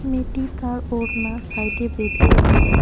মেয়েটি তার ওড়না সাইডে বেঁধে রেখেছে।